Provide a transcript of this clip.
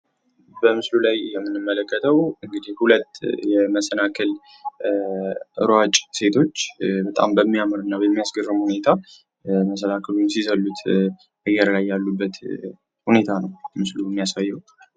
በምስሉ ላይ የምንመለከተው ሁለት የመሰናክል እሯጭ ሴቶች በጣም በምአስገርም ሁኔታ መስናክሉን ስዘሉት የሚያሳይ ምስል ነው